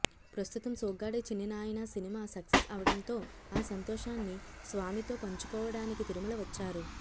ప్రస్తుతం Soggade Chinni Nayana cinema success అవడంతో ఆ సంతోషాన్ని స్వామితో పంచుకోవడానికి తిరుమల వచ్చారు